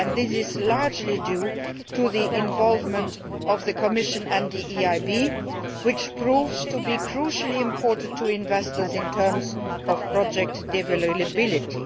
This is largely due to the involvement of the Commission and the EIB, which proves to be crucially important to investors in terms of project deliverability.